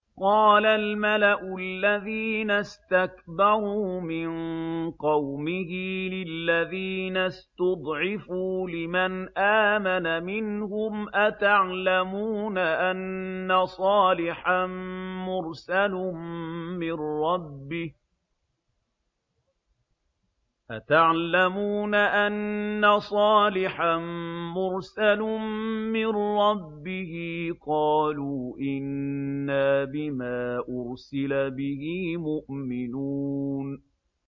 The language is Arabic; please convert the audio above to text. قَالَ الْمَلَأُ الَّذِينَ اسْتَكْبَرُوا مِن قَوْمِهِ لِلَّذِينَ اسْتُضْعِفُوا لِمَنْ آمَنَ مِنْهُمْ أَتَعْلَمُونَ أَنَّ صَالِحًا مُّرْسَلٌ مِّن رَّبِّهِ ۚ قَالُوا إِنَّا بِمَا أُرْسِلَ بِهِ مُؤْمِنُونَ